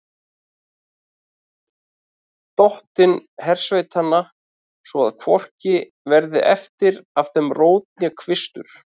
Dottinn hersveitanna, svo að hvorki verði eftir af þeim rót né kvistur.